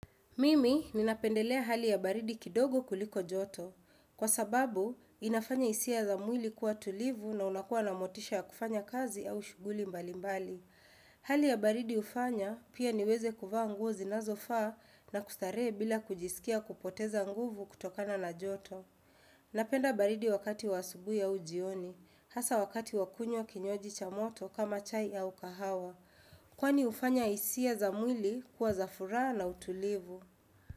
Mimi ninapendelea hali ya baridi kidogo kuliko joto. Kwa sababu, inafanya hisia za mwili kuwa tulivu na unakua na motisha ya kufanya kazi au shughuli mbalimbali. Hali ya baridi hufanya pia niweze kuvaa nguo zinazofaa na kustarehe bila kujisikia kupoteza nguvu kutokana na joto. Napenda baridi wakati wa asubuhi au jioni, hasa wakati wa kunywa kinywaji cha moto kama chai au kahawa. Kwani hufanya hisia za mwili kuwa za furaha na utulivu.